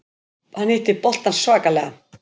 Hann hitti boltann svakalega.